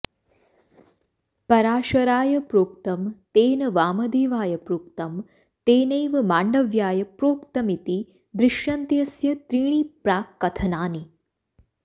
पराशराय प्रोक्तं तेन वामदेवाय प्रोक्तं तेनैव माण्डव्याय प्रोक्तमिति दृश्यन्तेऽस्य त्रीणि प्राक्कथनानि